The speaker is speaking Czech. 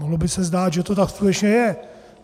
Mohlo by se zdát, že to tak skutečně je.